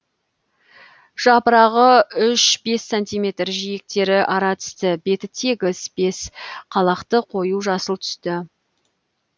жапырағы үш бес сантиметр жиектері аратісті беті тегіс бес қалақты қою жасыл түсті